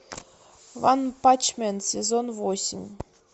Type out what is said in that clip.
ванпанчмен сезон восемь